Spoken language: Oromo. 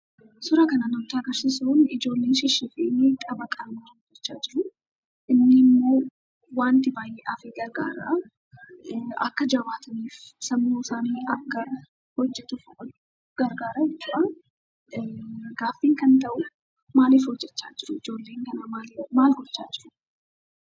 Suuraan kun kan nutti agarsiisu ijoolleen tapha taphataa jiru. Kunimmoo wanta baay'eedhaaf gargaara. Akka jabaataniif sammuu isaanii akka hojjatuuf gargaara jechuudha. Ijoolleen kun maal fa'aa gochaa jiru?